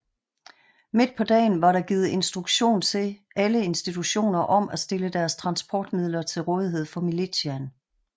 Midt på dagen var der givet instruktion til alle institutioner om at stille deres transportmidler til rådighed til militsiaen